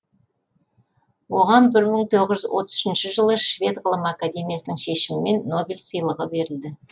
оған бір мың тоғыз жүз отыз үшінші жылы швед ғылым академиясының шешімімен нобель сыйлығы берілді